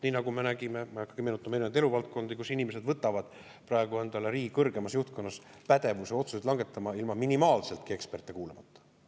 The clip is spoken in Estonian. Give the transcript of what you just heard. Nii nagu me oleme näinud, ma ei hakka meenutama erinevaid eluvaldkondi, kus inimesed võtavad praegu endale riigi kõrgemas juhtkonnas pädevuse otsuseid langetada ilma minimaalseltki eksperte kuulamata.